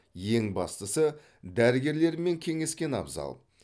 ең бастысы дәрігерлермен кеңескен абзал